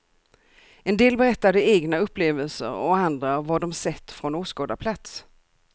En del berättade egna upplevelser och andra vad de sett från åskådarplats.